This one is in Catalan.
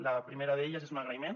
la primera d’elles és un agraïment